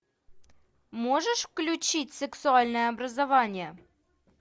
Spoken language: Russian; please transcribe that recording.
можешь включить сексуальное образование